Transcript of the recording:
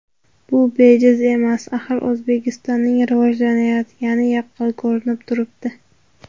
Bu bejizga emas, axir O‘zbekistonning rivojlanayotgani yaqqol ko‘rinib turibdi.